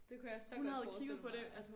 Det kunne jeg så godt forestille mig altså